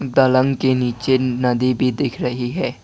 दलँग के नीचे नदी भी दिख रही है।